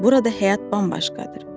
Burada həyat bambaşqadır.